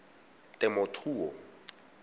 temothuo